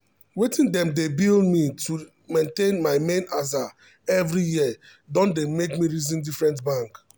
wetin dem dey bill me to maintain my main aza every year don dey make me reason different bank.